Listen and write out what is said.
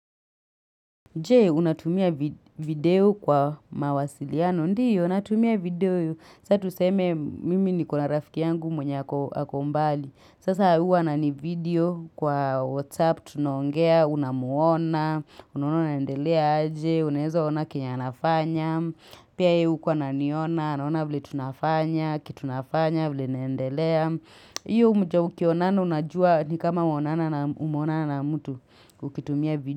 Je, unatumia video kwa mawasiliano, ndio, natumia video saa tuseme mimi nikona rafiki yangu mwenye ako mbali, sasa huwa ananivideo kwa WhatsApp, tunaongea, unamuona, unaona anaendelea aje, unaeza ona kenye anafanya, pia yeye huko ananiona, anaona vile tunafanya, kitu nafanya, vile naendelea, hiyo ukionana unajua ni kama umeonana na mtu, ukitumia video.